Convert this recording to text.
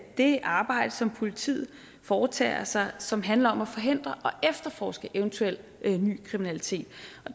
det arbejde som politiet foretager sig som handler om at forhindre og efterforske eventuel ny kriminalitet